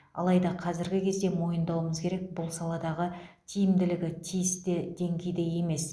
алайда қазіргі кезде мойындауымыз керек бұл саладағы тиімділігі тиісті деңгейде емес